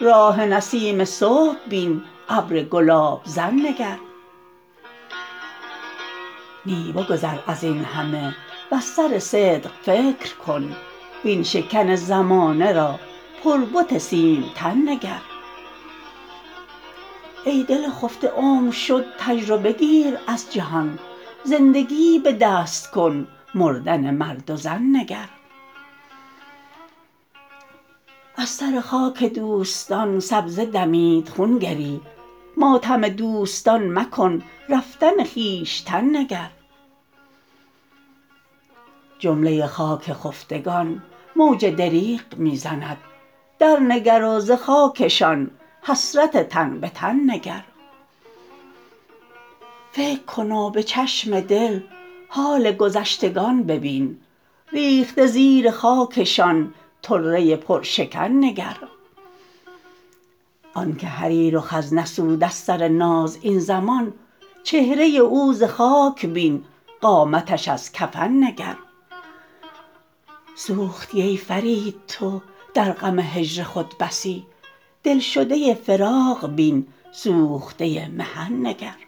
راح نسیم صبح بین ابر گلاب زن نگر نی بگذر ازین همه وز سر صدق فکر کن وین شکن زمانه را پر بت سیم تن نگر ای دل خفته عمر شد تجربه گیر از جهان زندگیی به دست کن مردن مرد و زن نگر از سر خاک دوستان سبزه دمید خون گری ماتم دوستان مکن رفتن خویشتن نگر جمله خاک خفتگان موج دریغ می زند درنگر و ز خاکشان حسرت تن به تن نگر فکر کن و به چشم دل حال گذشتگان ببین ریخته زیر خاکشان طره پرشکن نگر آنکه حریر و خز نسود از سر ناز این زمان چهره او ز خاک بین قامتش از کفن نگر سوختی ای فرید تو در غم هجر خود بسی دلشده فراق بین سوخته محن نگر